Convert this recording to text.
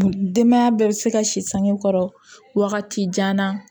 Denbaya bɛɛ bɛ se ka si sange kɔrɔ wagati jan na